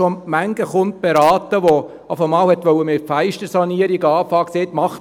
Ich habe schon manchen Kunden beraten, der schon mal mit der Fenstersanierung anfangen wollte, und gesagt hat: